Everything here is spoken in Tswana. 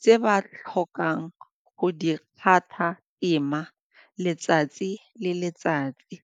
tse ba tlhokang go di letsatsi le letsatsi.